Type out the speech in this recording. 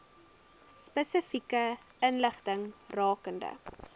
spesifieke inligting rakende